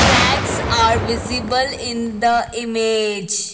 flags are visible in the image.